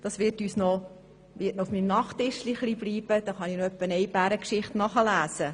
Es wird noch etwas auf meinem Nachttischchen liegen, sodass ich ab und an noch eine Bärengeschichte nachlesen kann.